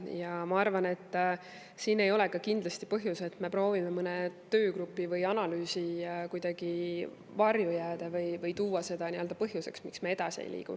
Ja ma arvan, et siin ei ole ka kindlasti põhjus see, et me proovime mõne töögrupi või analüüsi varju jääda või tuua seda nii-öelda põhjuseks, miks me edasi ei liigu.